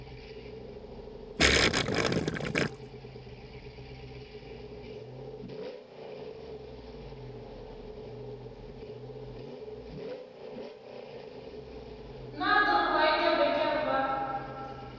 na dr rayda becker vha